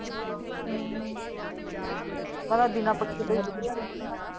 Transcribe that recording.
ਹਮ ਮੈਂ ਤਾਂ ਬਿਨਾ ਪੱਖੇ ਤੋਂ ਈ ਵਧਿਆ ਰਹਿੰਨੀ ਆ।